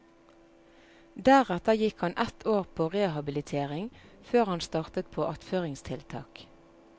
Deretter gikk han ett år på rehabilitering, før han startet på attføringstiltak.